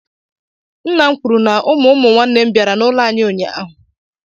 Nna m kwuru na ụmụ umụnwanne m bịara n'ụlọ anyị ụnyaahụ.